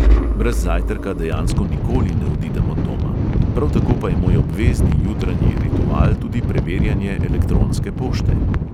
Brez zajtrka dejansko nikoli ne odidem od doma, prav tako pa je moj obvezni jutranji ritual tudi preverjanje elektronske pošte.